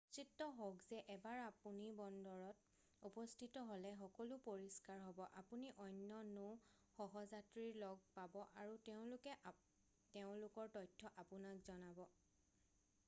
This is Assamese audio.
নিশ্চিত হওক যে এবাৰ আপুনি বন্দৰত উপস্থিত হ'লে সকলো পৰিষ্কাৰ হ'ব আপুনি অন্য নৌ সহযাত্ৰীৰ লগ পাব আৰু তেওঁলোকে তেওঁলোকৰ তথ্য আপোনাক জনাব